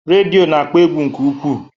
Redio na-akpọ egwu nke ukwuu